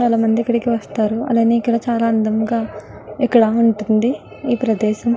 చాల మంది ఇక్కడికి వస్తారు అలానె ఇక్కడ చాల అందం గ ఇక్కడ ఉంటుంది ఈ ప్రదేశం --